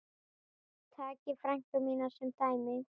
Takið frænku mína sem dæmi.